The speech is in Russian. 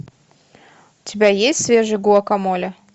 у тебя есть свежий гуакамоле